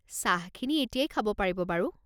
চাহখিনি এতিয়াই খাব পাৰিব বাৰু।